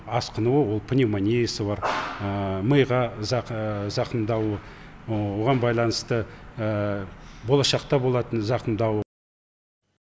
асқынуы ол пневмониясы бар миға зақымдау оған байланысты болашақта болатын зақымдау